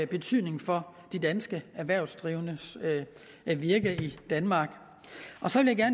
betydning for de danske erhvervsdrivendes virke i danmark så vil jeg